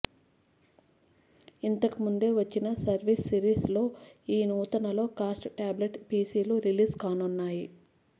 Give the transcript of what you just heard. ఇంతకు ముందే వచ్చిన సర్ఫేస్ సిరీస్ లో ఈ నూతన లో కాస్ట్ ట్యాబ్లెట్ పిసిలు రిలీజ్ కానున్నాయి